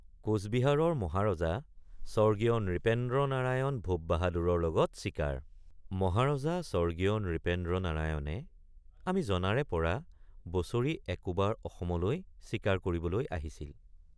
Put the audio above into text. কোচবিহাৰৰ মহাৰজা স্বৰ্গীয় নৃপেন্দ্ৰনাৰায়ণ ভূপ বাহাদুৰৰ লগত চিকাৰ মহাৰজা স্বৰ্গীয় নৃপেন্দ্ৰনাৰায়ণে আমি জনাৰেপৰা বছৰি একোবাৰ অসমলৈ চিকাৰ কৰিবলৈ আহিছিল।